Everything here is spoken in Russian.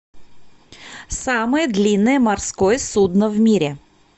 самое длинное морское судно в мире